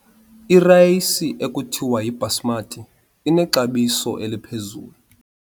Irayisi ekuthiwa yibhasimati inexabiso eliphezulu.